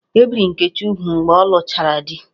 E biri Nkechi úgwù mgbe ọ lụchara di